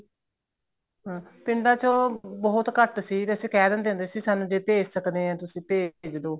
ਹਾਂ ਪਿੰਡਾਂ ਚੋ ਬਹੁਤ ਘੱਟ ਸੀ ਅਸੀਂ ਕਹਿ ਦਿੰਦੇ ਹੂੰਦੇ ਸੀ ਸਾਨੂੰ ਜ਼ੇ ਭੇਜ ਸਕਦੇ ਹੋ ਤਾਂ ਭੇਜ ਦੋ